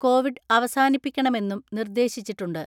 Covid അവസാനിപ്പിക്കണമെന്നും നിർദേശിച്ചിട്ടുണ്ട്.